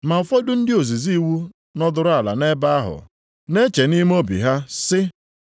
Ma ụfọdụ ndị ozizi iwu nọdụrụ ala nʼebe ahụ na-eche nʼime obi ha sị,